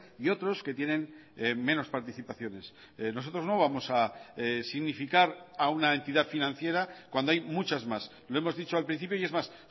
y otros que tienen menos participaciones nosotros no vamos a significar a una entidad financiera cuando hay muchas más lo hemos dicho al principio y es más